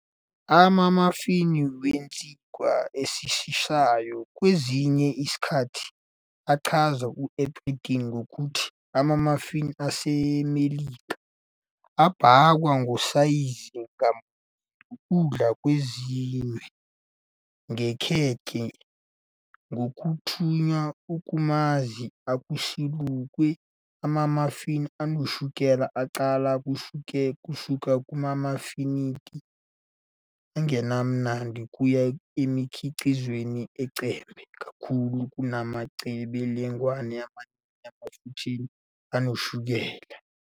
Ama-muffin wesinkwa esisheshayo, kwesinye isikhathi achazwa eBrithani ngokuthi "ama-muffin aseMelika", abhakwa, ngosayizi ngamunye, ukudla okwenziwe ngekhekhe ngokuthungwa "okumanzi, okusalukiwe". Ama-muffin anoshukela aqala kusuka kumafinithi angenamnandi kuya emikhiqizweni "ecebe kakhulu kunamaqebelengwane amaningi emafutheni nashukela."